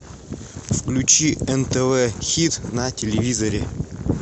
включи нтв хит на телевизоре